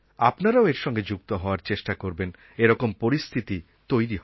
আপনারাও এর সঙ্গে যুক্ত হওয়ার চেষ্টা করবেন এরকম পরিস্থিতি তৈরি হবে